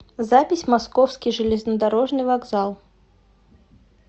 запись московский железнодорожный вокзал